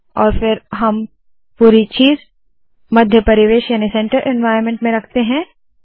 और फिर हम पूरी चीज़ मध्य परिवेश में रखते है